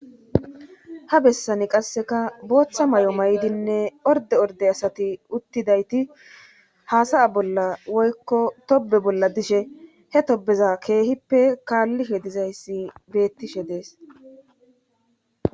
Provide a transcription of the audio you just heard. Ha bessani qasseka booththa may7o may7dinne orde orde asati uttidayti haasaya bolla woykko tobe bolla dishe he tobeza keehippe kaallishe dizayssi beettishe dees.